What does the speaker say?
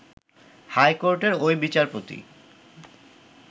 high কোর্টের ওই বিচারপতি